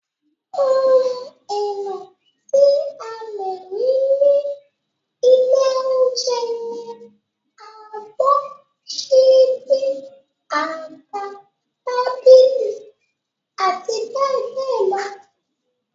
Ohun èlò tí a lè rí ní ilé oúnjẹ ni abọ́, ṣíbí, àga, tábìlì, abbl.